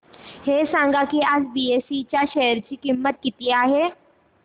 हे सांगा की आज बीएसई च्या शेअर ची किंमत किती आहे